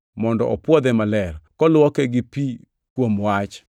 mondo opwodhe maler, koluoke gi pi kuom wach